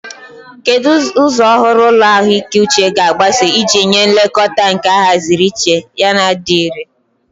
Kedu ụzọ ọhụrụ ụlọ ahụike uche ga-agbaso iji nye nlekọta nke ahaziri iche yana dị irè?